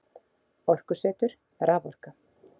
Orkusetur- Raforka.